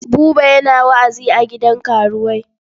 Buba yana wa'azi a gidan karuwai.